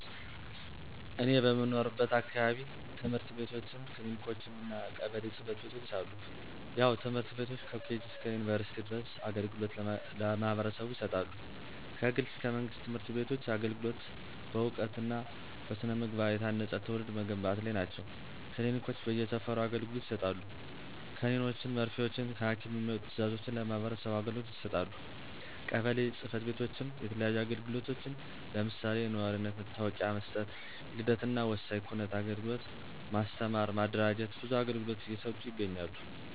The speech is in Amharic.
እኔ በምኖርበት አካባቢ፦ ትምህርት ቤትችም፣ ክሊኒኮችም እና ቀበሌ ጽ/ቤቶች አሉ። ያው ትምህርት ቤቶች ከኬጅ እስከ ዩንቨርስቲ ድረስ አገልግሎት ለማህበረሰቡ ይሰጣሉ። ከግል እስከ መንግስት ትምህርት ቤቶች አገልግሎት በእውቀት እና በስነ-ምግባ የታነፀ ትውልድ መገንባት ላይ ናቸው። ክሊኒኮች በየ ሰፈሩ አገልግሎት ይሰጣሉ። ከኒኖችን መርፊወችን ከሀኪም የሚመጡ ትዛዞችን ለማህበረሰቡ አገልግሎት ይሰጣሉ። ቀበሌ ፅ/ቤቶችም የተለያዩ አግልግሎቶችን ለምሳሌ፦ የኗሪነት መታወቂያ መስጠት፣ የልደት እናወሳኝ ኩነት አግልግሎት፣ ማስተማር ማደራጀት ብዙ አገልግሎት እየሰጡ ይገኛሉ።